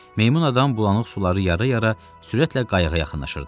Meymun adam bulanıq suları yara-yara sürətlə qayıqa yaxınlaşırdı.